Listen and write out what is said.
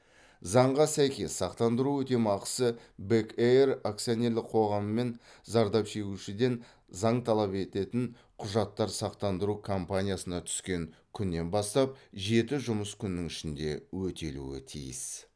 заңға сәйкес сақтандыру өтемақысы бек эйр акционерлік қоғамымен зардап шегушіден заң талап ететін құжаттар сақтандыру компаниясына түскен күннен бастап жеті жұмыс күнінің ішінде өтелуі тиіс